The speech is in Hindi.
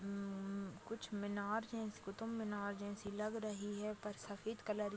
मम्म कुछ मीनार है। इस क़ुतुब मीनार जैसी लग रही हैपर सफ़ेद कलर की।